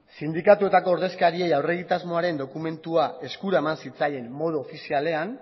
sindikatuetako ordezkari aurre egitasmoaren dokumentua eskura eman zitzaien modu ofizialean